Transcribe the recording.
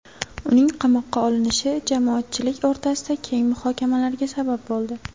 Uning qamoqqa olinishi jamoatchilik o‘rtasida keng muhokamalarga sabab bo‘ldi.